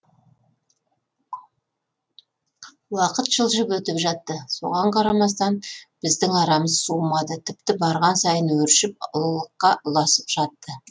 уақыт жылжып өтіп жатты соған қарамастан біздің арамыз суымады тіпті барған сайын өршіп ұлылыққа ұласып жатты